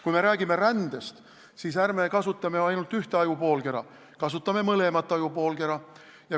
Kui me räägime rändest, siis ärme kasutame ainult ühte ajupoolkera, kasutame mõlemat ajupoolkera.